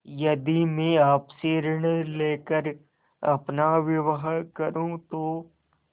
यदि मैं आपसे ऋण ले कर अपना विवाह करुँ तो